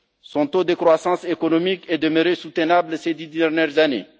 Son taux de croissance économique est demeuré soutenable ces dix dernières années.